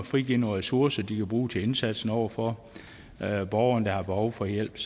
frigive nogle ressourcer de kan bruge til indsatsen over for borgerne der har behov for hjælp